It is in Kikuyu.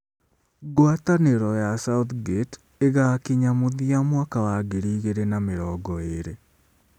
Ngwatanĩro ya Southgate ĩgakinya mũthia mwaka wa ngiri igĩrĩ na mĩrongo ĩĩrĩ.